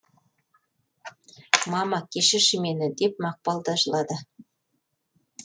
мама кешірші мені деп мақпал да жылады